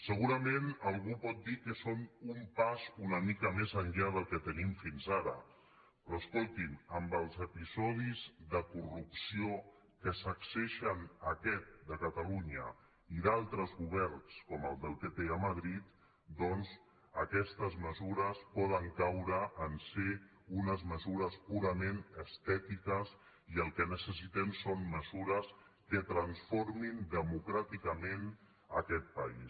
segurament algú pot dir que són un pas una mica més enllà del que tenim fins ara però es·colti’m amb els episodis de corrupció que sacsegen aquest de catalunya i d’altres governs com el del pp a madrid aquestes mesures poden caure en ser unes mesures purament estètiques i el que necessitem són me·sures que transformin democràticament aquest país